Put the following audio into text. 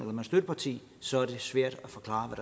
man er støtteparti så er det svært at forklare